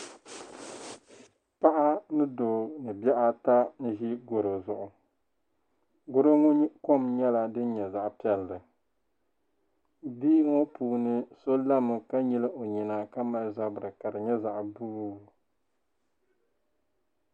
Paɣa ni doo ni bihi ata n-ʒi gɔro zuɣu. Gɔro ŋɔ kom nyɛla din nyɛ zaɣ' piɛlli. Bihi ŋɔ puuni so lami ka nyili o nyina ka mali zabila ka di nyɛ zaɣ' buluu.